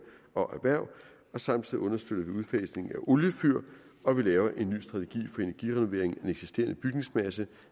og erhverv og samtidig understøtte udfasningen af oliefyr og vi laver en ny strategi energirenovering af den eksisterende bygningsmasse